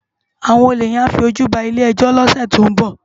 Awòn ólé yèn á fi ójú bá ilé èjò ni òsè tó n bò